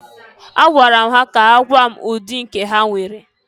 Agwara m ha ka ha gwaa m ụdị nke ha nwere.